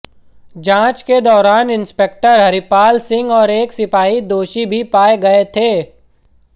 जांच के दौरान इंस्पेक्टर हरिपाल सिंह और एक सिपाही दोषी भी पाए गए थे